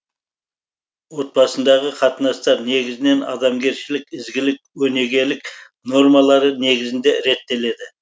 отбасындағы қатынастар негізінен адамгершілік ізгілік өнегелік нормалары негізінде реттеледі